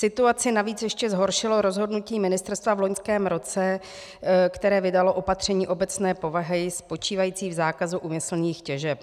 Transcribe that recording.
Situaci navíc ještě zhoršilo rozhodnutí ministerstva v loňském roce, které vydalo opatření obecné povahy spočívající v zákazu úmyslných těžeb.